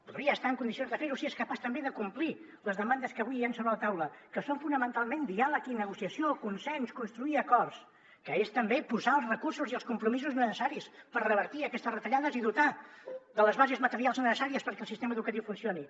podria estar en condicions de fer ho si és capaç també de complir les demandes que avui hi han sobre la taula que són fonamentalment diàleg i negociació consens construir acords que és també posar els recursos i els compromisos necessaris per revertir aquestes retallades i dotar de les bases materials necessàries perquè el sistema educatiu funcioni